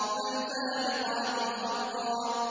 فَالْفَارِقَاتِ فَرْقًا